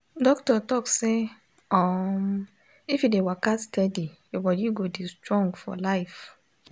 doctor talk say um if you dey waka steady your bodi go dey strong for life.